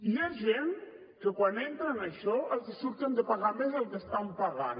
hi ha gent que quan entra en això els surt que han de pagar més del que estan pagant